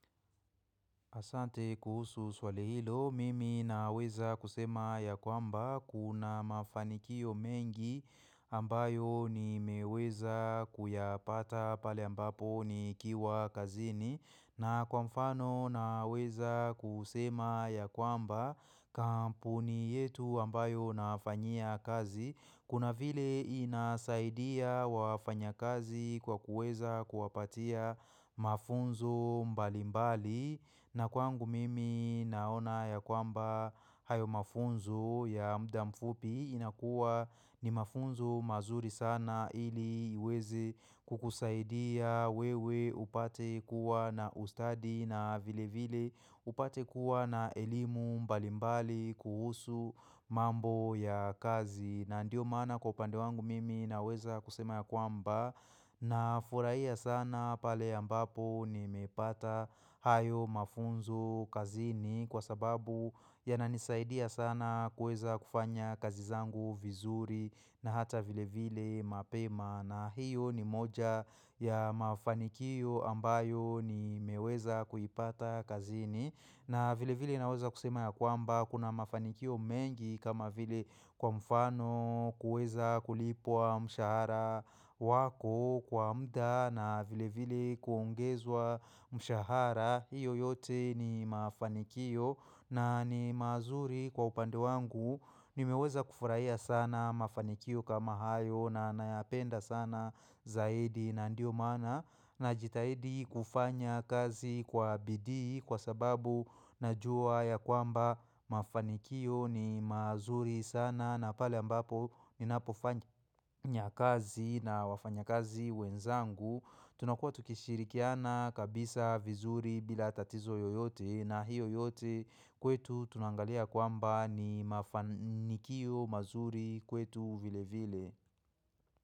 Asante kuhusu swali hilo, mimi naweza kusema ya kwamba kuna mafanikio mengi ambayo nimeweza kuyapata pale ambapo nikiwa kazini. Na kwa mfano naweza kusema ya kwamba kampuni yetu ambayo nafanyia kazi. Kuna vile inasaidia wafanyakazi kwa kuweza kuwapatia mafunzo mbalimbali. Na kwangu mimi naona ya kwamba hayo mafunzo ya muda mfupi inakuwa ni mafunzo mazuri sana ili iweze kukusaidia wewe upate kuwa na ustadi na vile vile upate kuwa na elimu mbalimbali kuhusu mambo ya kazi. Na ndio maana kwa upande wangu mimi naweza kusema ya kwamba na furahia sana pale ambapo nimepata hayo mafunzo kazini kwa sababu yananisaidia sana kuweza kufanya kazi zangu vizuri na hata vile vile mapema. Na hiyo ni moja ya mafanikio ambayo nimeweza kuipata kazini na vile vile naweza kusema ya kwamba kuna mafanikio mengi kama vile kwa mfano kuweza kulipwa mshahara wako kwa muda na vile vile kuongezwa mshahara. Hiyo yote ni mafanikio na ni mazuri kwa upande wangu Nimeweza kufurahia sana mafanikio kama hayo na nayapenda sana zaidi na ndio maana najitahidi kufanya kazi kwa bidii kwa sababu najua ya kwamba mafanikio ni mazuri sana na pale ambapo ninapofanya kazi na wafanyakazi wenzangu. Tunakuwa tukishirikiana kabisa vizuri bila tatizo yoyote na hiyo yote kwetu tunangalia kwamba ni mafanikio mazuri kwetu vile vile.